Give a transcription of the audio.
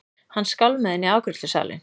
Hann skálmaði inn í afgreiðslusalinn.